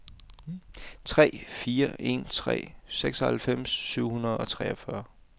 tre fire en tre seksoghalvfems syv hundrede og toogfyrre